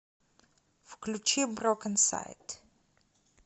включи брокенсайд